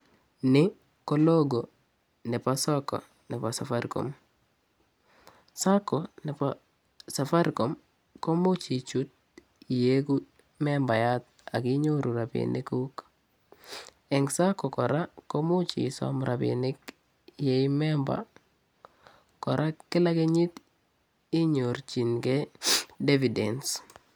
Ni ko logo nebo sacco nebo safaricom, sacco nebo safaricom komuch ichuut ieku membayat ak kinyoru rapinikuk. Eng sacco kora komuch isom rapinik ye ii memba kora kila kenyit inyorchinikei dividends.